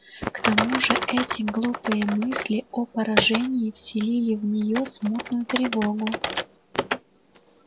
к тому же эти глупые мысли о поражении вселили в неё смутную тревогу